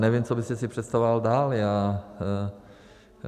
Nevím, co byste si představoval dál.